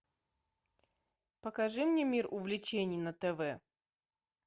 покажи мне мир увлечений на тв